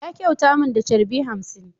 Ya kyauta min da charbi hamsin.